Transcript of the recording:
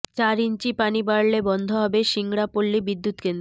চার ইঞ্চি পানি বাড়লে বন্ধ হবে সিংড়া পল্লী বিদ্যুৎকেন্দ্র